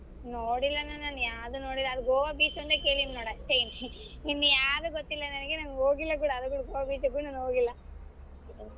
ನೋಡಿಲ್ಲ ಅಣ್ಣಾ ನಾನ್ ಯಾವ್ದು ನೋಡಿಲ್ಲ ಅದು ಗೋವಾ beach ಒಂದೆ ಕೇಳಿನಿ ನೋಡ್ ಅಷ್ಟೆ ಇನ್ ಯಾವುದು ಗೊತ್ತಿಲ್ಲ ನನ್ಗೆ ನಾನ್ ಹೋಗಿಲ್ಲ ಅದು ಕೂಡಾ ಗೋವಾ beach ಕೂಡಾ ನಾನ್ ಹೋಗಿಲ್ಲ.